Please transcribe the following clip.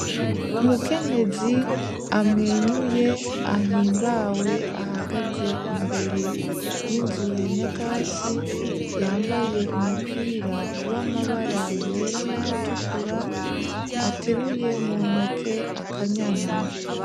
Umukenyezi amwenyuye ahimbawe ahagaze imbere y'inzu ya nyakatsi yambaye umupira w'amabara yera n'ayatukura ateruye mu ntoke akanyana.